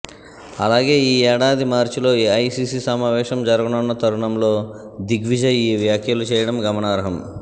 అలాగే ఈ ఏడాది మార్చిలో ఏఐసిసి సమావేశం జరగనున్న తరుణంలో దిగ్విజయ్ ఈ వ్యాఖ్యలు చేయడం గమనార్హం